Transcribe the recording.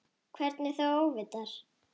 Hvernig þá óvitar?